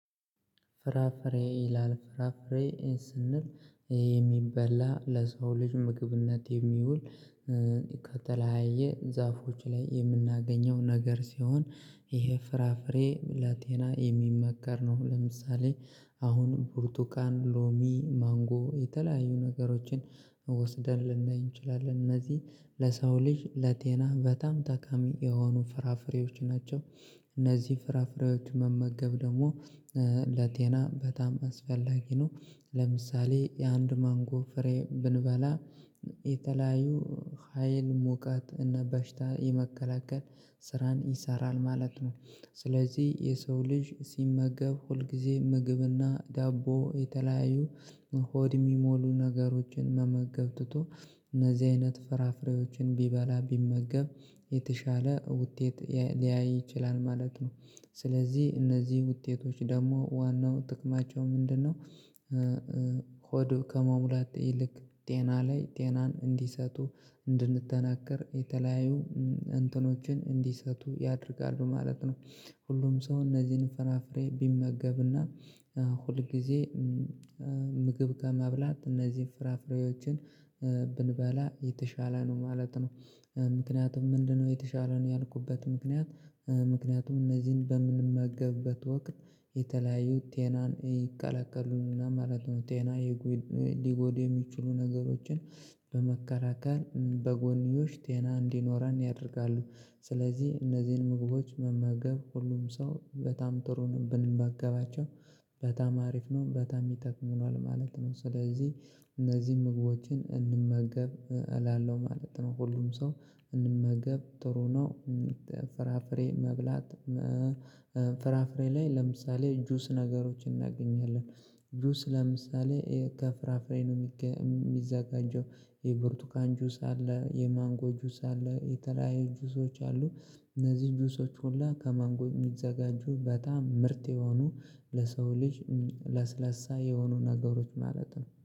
ፍራፍሬ ይላል ፍራፍሬ ስንል የሚበላ ለሰው ልጅ ምግብነት የሚውል ከተለያየ ዛፎች ላይ የምናገኘው ነገር ሲሆን ይሄ ፍራፍሬ ለጤና የሚመከር ነው። ለምሳሌ አሁን ብርቱካን ሎሚ ማንጎ የተለያዩ ነገሮችን ወስደን ልናይ እንችላለን። እነዚህ ለሰው ልጅ ለጤና በጣም ጠቃሚ የሆኑ ፍራፍሬዎች ናቸው። እነዚህ ፍራፍሬዎች መመገብ ደግሞ ለጤና በጣም አስፈላጊ ነው። ለምሳሌ የአንድ ማንጎ ፍሬ ብንበላ የተለያዩ ሀይል ሞቀት እና በሽታ የመከላከል ስራን ይሰራል ማለት ነው። ስለዚህ የሰው ልጅ ሲመገብ ሁልጊዜ ምግብና ዳቦ የተለያዩ ሆድ የሚሞሉ ነገሮችን መመገብ ትቶ እነዚህ አይነት ፍራፍሬዎችን ቢበላ ቢመገብ የተሻለ ውጤት ሊያይ ይችላል ማለት ነው። ስለዚህ እነዚህ ውጤቶች ደግሞ ዋናው ጥቅማቸው ምንድነው? ሆዱ ከመሙላት ይልቅ ጤና ላይ ጤናን እንዲሰጡ እንድንጠነክር የተለያዩ እንትኖችን እንዲሰጡ ያደርጋሉ ማለት ነው። ሁሉም ሰው እነዚህን ፍራፍሬ ቢመገብና ሁል ጊዜ ምግብ ከመብላት እነዚህን ፍራፍሬዎችን ብንበላ የተሻለ ነው ማለት ነው። ምክንያቱም ምንድነው? የተሻለ ነው ያልኩበት ምክንያት ምክንያቱም እነዚህን በምንመገብበት ወቅት የተለያዩ ጤናን ይቀላቀሉናል ማለት ነው። ጤና ሊጎድ የሚችሉ ነገሮችን በመከላከል በጎኒዬሽ ጤና እንዲኖረን ያደርጋሉ። ስለዚህ እነዚህን ምግቦች መመገብ ሁሉም ሰው በጣም ጥሩ ነው ብንመገባቸው በጣም አሪፍ ነው በጣም ይጠቅሙናል ማለት ነው። ስለዚህ እነዚህን ምግቦችን እንመገብ እላለሁ ማለት ነው። ሁሉም ሰው እንመገብ ጥሩ ነው። ፍራፍሬ መብላት ፍራፍሬ ላይ ለምሳሌ ጁስ ነገሮችን እናገኛለን። ጁስ ለምሳሌ ከፍራፍሬ ነው የሚዘጋጀው የብርቱካን ጁስ አለ የማንጎ ጁስ አለ የተለያዩ ጁሶች አሉ። እነዚህ ጁሶች ሁላ ከማንጎ የሚዘጋጁ በጣም ምርጥ የሆኑ ለሰው ልጅ ለስለሳ የሆኑ ነገሮች ማለት ነው